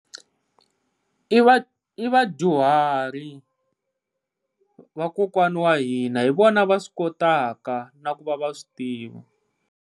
I va i vadyuharhi, vakokwani wa hina hi vona va swi kotaka na ku va va swi tiva.